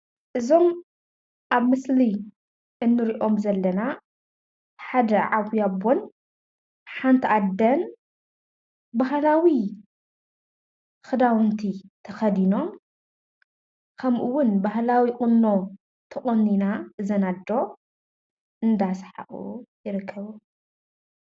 እዞም አብ ምስሊ እንሪኦም ዘለና ሓደ ዓብይ አቦን ሓንቲ አደን ባህላዊ ክዳውንቲ ተከዲኖም ከምኡ እውን ባህላዊ ቁኖ ተቆኒና እዘን እዶ እንዳ ስሓቁ ይርከቡ።